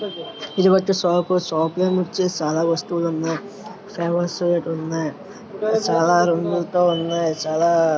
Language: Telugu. ఇది ఒచ్చేసి షాప్ షాప్ లో ఒచ్చేసి చాలా వస్తువులు ఉన్నాయి ఫ్లవర్ స్ ఉన్నాయి చాలా రంగులతో ఉన్నాయి చాలా--